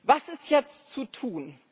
Was ist jetzt zu tun?